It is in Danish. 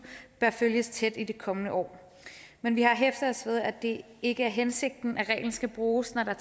bør følges tæt i det kommende år men vi har hæftet os ved at det ikke er hensigten at reglen skal bruges når der